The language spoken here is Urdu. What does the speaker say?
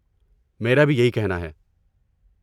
میرا بھی یہی کہنا ہے۔